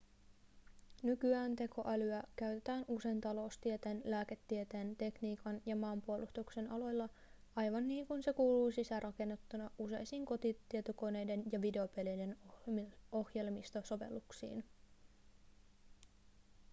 nykyään tekoälyä käytetään usein taloustieteen lääketieteen tekniikan ja maanpuolustuksen aloilla aivan niin kuin se kuuluu sisäänrakennettuna useisiin kotitietokoneiden ja videopelien ohjelmistosovelluksiin